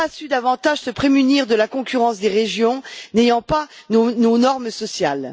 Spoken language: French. Elle n'a pas su davantage se prémunir de la concurrence des régions n'ayant pas nos normes sociales.